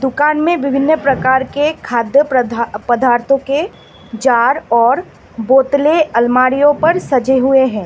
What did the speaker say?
दुकान में विभिन्न प्रकार के खाद्य पदा पदार्थों के जार और बोतले अलमारीयों पर सजे हुए हैं।